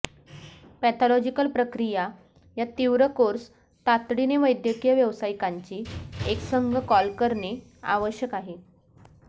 pathological प्रक्रिया या तीव्र कोर्स तातडीने वैद्यकीय व्यावसायिकांची एक संघ कॉल करणे आवश्यक आहे